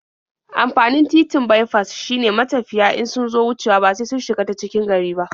Amfanin titin baifas shine matafiya in sun zo wucewa ba sai sun shiga ta cikin gari ba.